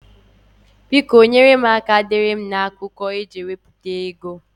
Biko nyèrè m aka deere m na akwụkwọ a eji ewepụta ego ozi ndị a m ga enye gị